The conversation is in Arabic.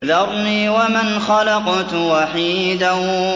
ذَرْنِي وَمَنْ خَلَقْتُ وَحِيدًا